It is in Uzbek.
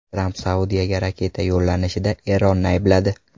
Tramp Saudiyaga raketa yo‘llanishida Eronni aybladi.